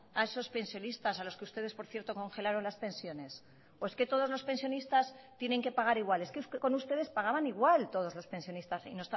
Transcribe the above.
a esos pensionistas a los que ustedes por cierto congelaron las pensiones o es que todos los pensionistas tienen que pagar igual es que con ustedes pagaban igual todos los pensionistas y